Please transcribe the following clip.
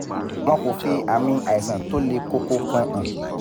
wọn kò fi ami àìsàn tó le koko kan hàn